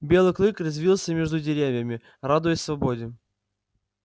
белый клык резвился между деревьями радуясь свободе